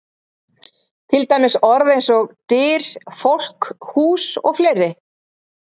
Til dæmis orð eins og: Dyr, fólk, hús og fleiri?